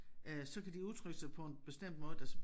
Øh så kan de udtrykke sig på en bestemt måde der så